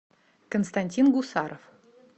константин гусаров